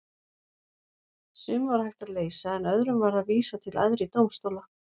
Sum var hægt að leysa en öðrum varð að vísa til æðri dómstóla.